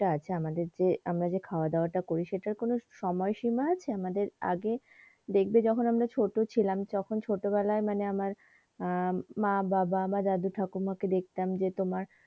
আছে যে আমাদের যে আমরা খাওয়াদাওয়া তা করি সেইটার কোনো সময়সীমা আছে আমাদের আগে দেখবে যখন আমরা ছোটো ছিলাম তখন ছোটবেলায় মানে আমার আহ মা বাবা বা দাদু ঠাকুমা কে দেখতাম যে তোমার,